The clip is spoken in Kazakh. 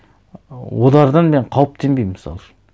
олардан мен қауіптенбеймін мысал үшін